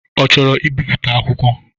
Ọ chọrọ ibiputa akwụkwọ?